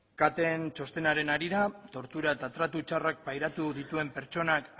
caten txostenaren harira tortura eta tratu txarrak pairatu dituen pertsonak